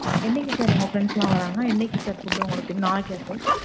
என்னைக்கு sir உங்க friends எல்லாம் வராங்கா? என்னைக்கு sir food உங்களுக்கு நாளைக்கா?